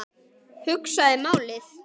Hugsaði málið.